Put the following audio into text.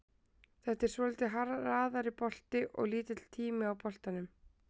Þetta er svolítið hraðari bolti og lítill tími á boltanum.